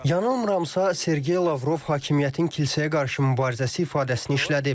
Yanılmıramsa, Sergey Lavrov hakimiyyətin kilsəyə qarşı mübarizəsi ifadəsini işlədib.